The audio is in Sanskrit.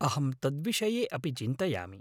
अहं तद्विषये अपि चिन्तयामि।